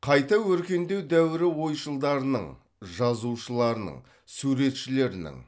қайта өркендеу дәуірі ойшылдарының жазушыларының суретшілерінің